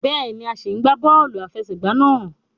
Béèni, a sí n gbà bóòlù àfẹsẹ̀gbá náà